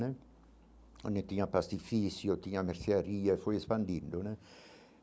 Onde tinha pastifício, tinha mercearia, foi expandindo né.